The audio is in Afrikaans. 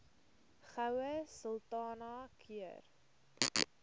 goue sultana keur